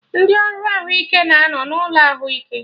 Ndị ọrụ ahụike na anọ n'ụlọ ahụike